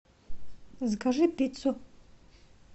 закажи пиццу